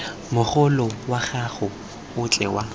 mogolo wa gago otlhe wa